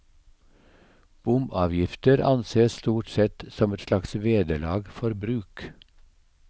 Bomavgifter ansees stort sett som et slags vederlag for bruk.